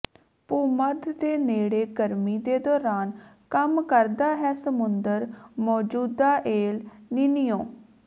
ਭੂਮੱਧ ਦੇ ਨੇੜੇ ਗਰਮੀ ਦੇ ਦੌਰਾਨ ਕੰਮ ਕਰਦਾ ਹੈ ਸਮੁੰਦਰ ਮੌਜੂਦਾ ਏਲ ਨਿੰਨੀਓ